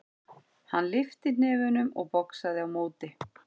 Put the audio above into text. Hann lyfti hnefunum og boxaði á móti.